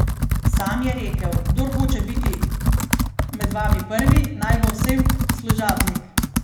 Sam je rekel: 'Kdor hoče biti med vami prvi, naj bo vsem služabnik'.